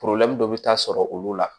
dɔ bɛ taa sɔrɔ olu la